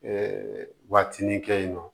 waatinin kɛ yen nɔ